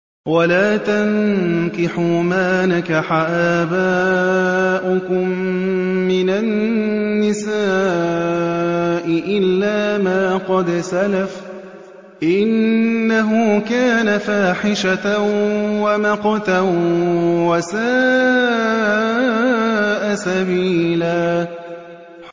وَلَا تَنكِحُوا مَا نَكَحَ آبَاؤُكُم مِّنَ النِّسَاءِ إِلَّا مَا قَدْ سَلَفَ ۚ إِنَّهُ كَانَ فَاحِشَةً وَمَقْتًا وَسَاءَ سَبِيلًا